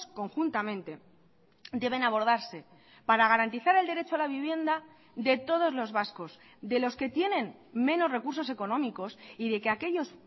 conjuntamente deben abordarse para garantizar el derecho a la vivienda de todos los vascos de los que tienen menos recursos económicos y de que aquellos